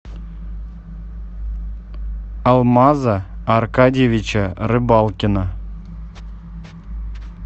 алмаза аркадьевича рыбалкина